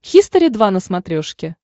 хистори два на смотрешке